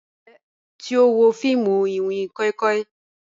Njẹ o ti wo fiimu iwin koi koi?